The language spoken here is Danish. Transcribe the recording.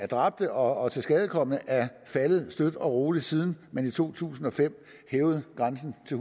dræbte og tilskadekomne er faldet støt og roligt siden man i to tusind og fem hævede grænsen til